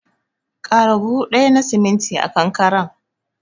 Ƙara buhu ɗaya na siminti a kankaren.